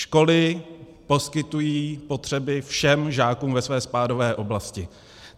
Školy poskytují potřeby všem žákům ve své spádové oblasti.